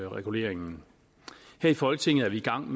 reguleringen her i folketinget er vi gang